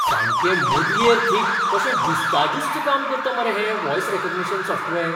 सामकें मुदयेर थीक कशें ज्युस्ता ज्युस्त काम करता मरे हें व्हॉयस रॅकग्निशन सॉफ्टवॅर!